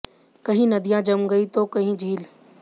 कहीं नदियां जम गई हैं तो कहीं झील